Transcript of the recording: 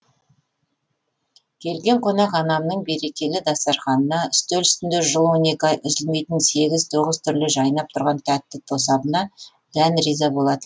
келген қонақ анамның берекелі дастарханына үстел үстінде жыл он екі ай үзілмейтін сегіз тоғыз түрлі жайнап тұрған тәтті тосабына дән риза болатын